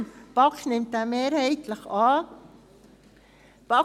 Die BaK nimmt diesen mehrheitlich an.